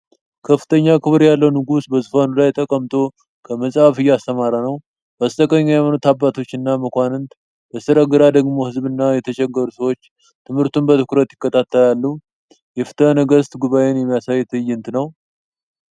ከፍተኛ ክብር ያለው ንጉሥ በዙፋኑ ላይ ተቀምጦ ከመጽሐፍ እያስተማረ ነው። በስተቀኝ የሃይማኖት አባቶችና መኳንንት፣ በስተግራ ደግሞ ሕዝብና የተቸገሩ ሰዎች ትምህርቱን በትኩረት ይከታተላሉ። የፍትሐ ነገሥት ጉባኤን የሚያሳይ ትዕይንት ነው።